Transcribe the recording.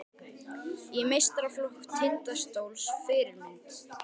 Í meistaraflokk Tindastóls Fyrirmynd?